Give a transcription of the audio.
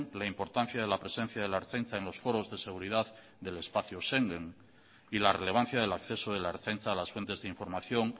la importancia de la presencia de la ertzaintza en los foros de seguridad del espacio schengen y la relevancia del acceso de la ertzaintza a las fuentes de información